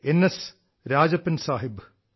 N S Rajappan Sahib